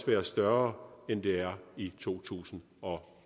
være større end det er i to tusind og